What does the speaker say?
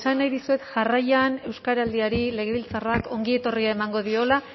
esan nahi dizuet jarraian euskaraldiari legebiltzarrak ongietorria emango diola